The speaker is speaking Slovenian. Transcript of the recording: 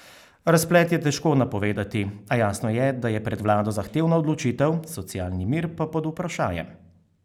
Razplet je težko napovedati, a jasno je, da je pred vlado zahtevna odločitev, socialni mir pa pod vprašajem.